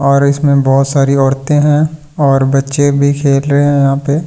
और इसमें बहुत सारी औरतें हैं और बच्‍चे भी खेल रहे हैं यहां पे और --